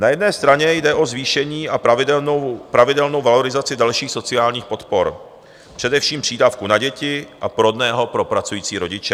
Na jedné straně jde o zvýšení a pravidelnou valorizaci dalších sociálních podpor, především přídavku na děti a porodného pro pracující rodiče.